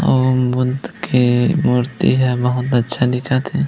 ॐ बुद्ध के मूर्ति हे बहुत अच्छा दिखत हे।